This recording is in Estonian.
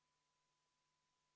Palun võtta seisukoht ja hääletada!